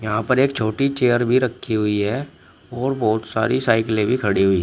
यहां पर एक छोटी चेयर भी रखी हुई है और बहुत सारी साइकिले भी खड़ी हुई।